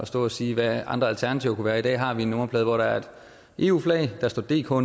stå og sige hvad andre alternativer kunne være i dag har vi en nummerplade hvor der er et eu flag og der står dk